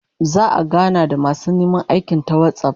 Za'a gana da masu neman aikin ta WhatsApp